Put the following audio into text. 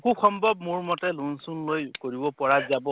খুব সম্ভৱ মোৰ মতে loan চোন লৈ কৰিব পৰা যাব